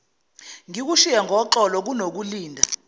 ngikushiye ngoxolo kunokulinda